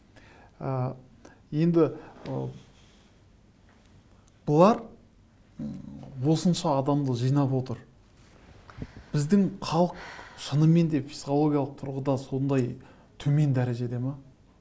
ы енді ы бұлар осынша адамды жинап отыр біздің халық шынымен де психологиялық тұрғыда сондай төмен дәрежеде ме